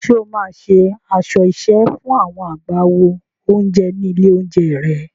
Ṣé o máa ṣe aṣọ iṣẹ́ fún àwọn agbáwo oúnjẹ ní ilé-oúnjẹ rẹ?